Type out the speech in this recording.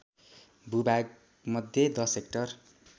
भूभागमध्ये १० hectare